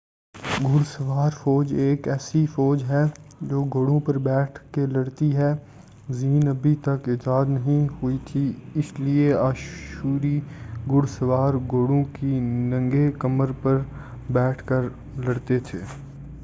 گھڑ سوار فوج ایک ایسی فوج ہے جو گھوڑوں پر بیٹھ کے لڑتی ہے زین ابھی تک ایجاد نہیں ہوئی تھی اس لیے آشوری گھڑ سوار گھوڑوں کی ننگے کمر پر بیٹھ کے لڑتے تھے